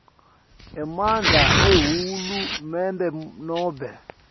emandla ahulumende nobe